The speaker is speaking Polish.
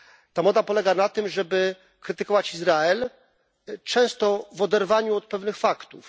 Ta moda polega na tym, żeby krytykować Izrael, często w oderwaniu od pewnych faktów.